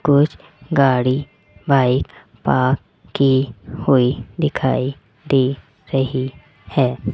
कुछ गाड़ी bike park की हुई दिखाई दे रही है।